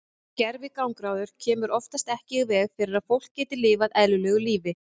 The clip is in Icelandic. Gervigangráður kemur oftast ekki í veg fyrir að fólk geti lifað eðlilegu lífi.